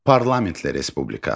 Parlamentli respublika.